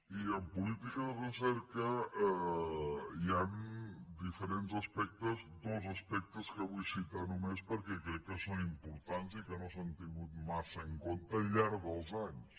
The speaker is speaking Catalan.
i en política de recerca hi han diferents aspectes dos aspectes que vull citar només perquè crec que són importants i que no s’han tingut massa en compte al llarg dels anys